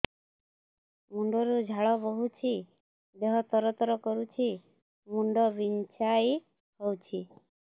ମୁଣ୍ଡ ରୁ ଝାଳ ବହୁଛି ଦେହ ତର ତର କରୁଛି ମୁଣ୍ଡ ବିଞ୍ଛାଇ ହଉଛି